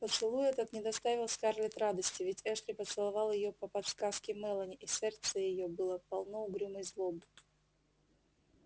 поцелуй этот не доставил скарлетт радости ведь эшли поцеловал её по подсказке мелани и сердце её было полно угрюмой злобы